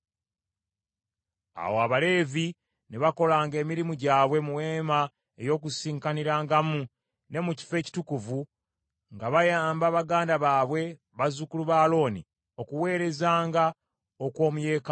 Awo Abaleevi ne bakolanga emirimu gyabwe mu Weema ey’Okukuŋŋaanirangamu, ne mu Kifo Ekitukuvu, nga bayamba baganda baabwe bazzukulu ba Alooni, okuweerezanga okw’omu yeekaalu ya Mukama .